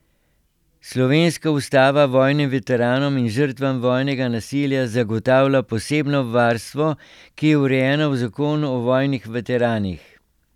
Slovenska ustava vojnim veteranom in žrtvam vojnega nasilja zagotavlja posebno varstvo, ki je urejeno v zakonu o vojnih veteranih.